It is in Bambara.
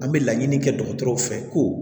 An bɛ laɲini kɛ dɔgɔtɔrɔw fɛ ko